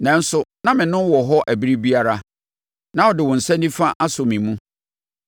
Nanso, na mene wowɔ hɔ ɛberɛ biara; na wode wo nsa nifa asɔ me mu.